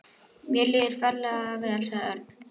Mér líður ferlega vel, sagði Örn.